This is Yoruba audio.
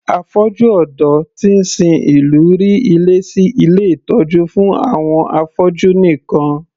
Afọ́jú ọ̀dọ́ tí ń sin ìlú rí ilé sí ilé ìtọ́jú fún àwọn afọ́jú nìkan